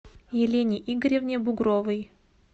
елене игоревне бугровой